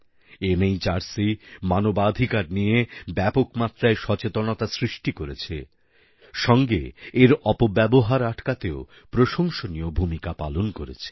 NHRC মানবাধিকার নিয়ে ব্যাপক মাত্রায় সচেতনতা সৃষ্টি করেছে সঙ্গে এর অপব্যবহার আটকাতেও প্রশংসনীয় ভূমিকা পালন করেছে